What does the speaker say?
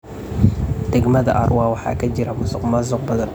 Degmada Arua waxaa ka jira musuqmaasuq badan.